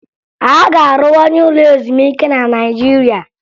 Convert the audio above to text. A ga-arụwanye ụlọ ezumike na naịjirịa